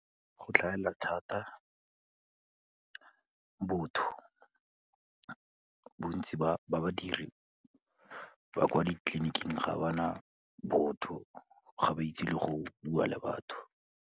Go tlhagelela thata botho, bontsi ba badiri ba kwa ditleliniking ga ba na botho, ga ba itse le go bua le batho.